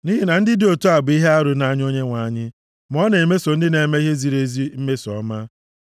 Nʼihi na ndị dị otu a bụ ihe arụ nʼanya Onyenwe anyị, ma ọ na-emeso ndị na-eme ihe ziri ezi mmeso ọma.